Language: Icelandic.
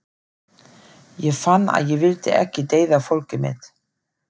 Ég fann að ég vildi ekki deyða fólkið mitt.